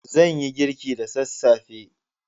Zan yi girki da sassafe.